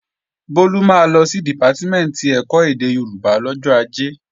Bólú máa lọ sí Dìpátímẹ̀ntì ẹ̀kọ́ èdè Yorùbá lọ́jọ́ Ajé